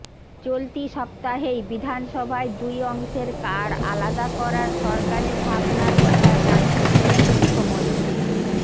চলতি সপ্তাহেই বিধানসভায় দুই অংশের কার্ড আলাদা করার সরকারি ভাবনার কথা জানিয়েছিলেন মুখ্যমন্ত্রী